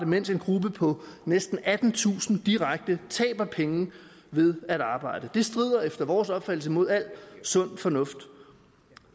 mens en gruppe på næsten attentusind direkte taber penge ved at arbejde det strider efter vores opfattelse mod al sund fornuft og